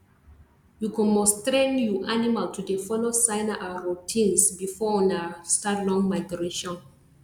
you go must train you animal to dey follow signer and routines before ona start long migration